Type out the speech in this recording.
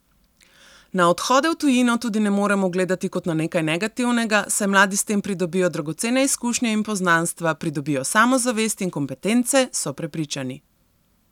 Na odhode v tujino tudi ne moremo gledati kot na nekaj negativnega, saj mladi s tem pridobijo dragocene izkušnje in poznanstva, pridobijo samozavest in kompetence, so prepričani.